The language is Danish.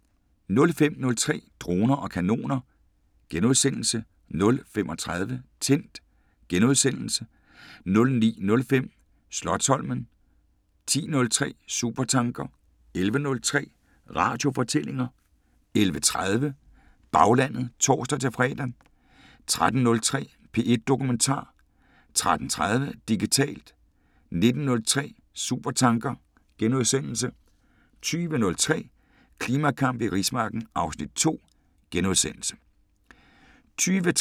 05:03: Droner og kanoner * 05:33: Tændt * 09:05: Slotsholmen 10:03: Supertanker 11:03: Radiofortællinger 11:30: Baglandet (tor-fre) 13:03: P1 Dokumentar 13:30: Digitalt 19:03: Supertanker * 20:03: Klimakamp i rismarken (Afs. 2)*